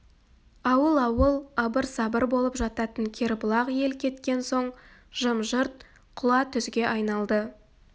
ауыл-ауыл абыр-сабыр болып жататын кербұлақ ел кеткен соң жым-жырт құла түзге айналды